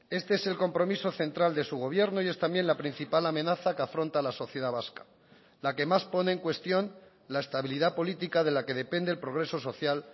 este es el compromiso central de su gobierno y es también la principal amenaza que afronta la sociedad vasca la que más pone en cuestión la estabilidad política de la que depende el progreso social